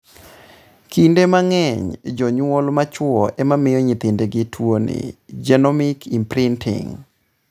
Kinde mang'eny, jonyuol ma chuo ema miyo nyithindgi tuoni (genomic imprinting).